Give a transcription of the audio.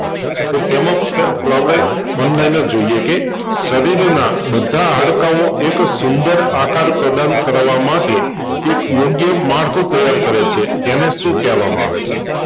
તો તેમાંજોઈએ કે શરીર નાં બધા હડકાઓ એક સુંદર આકાર પ્રેજન્ટ કરવા માટે એક યોગ્ય માળખું તૈયાર કરે છે તેને શું કેવામાં આવે છે.